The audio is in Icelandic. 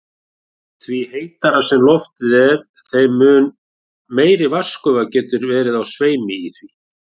Því heitara sem loftið er, þeim mun meiri vatnsgufa getur verið á sveimi í því.